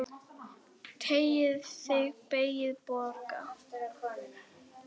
Teygja sig, beygja, bogra.